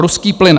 Ruský plyn.